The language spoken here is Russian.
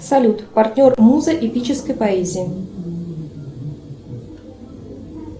салют партнер муза эпической поэзии